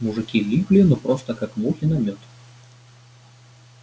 мужики липли ну просто как мухи на мёд